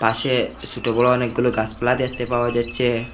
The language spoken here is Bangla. পাশে সোটো বড় অনেকগুলো গাছপালা দেখতে পাওয়া যাচ্ছে।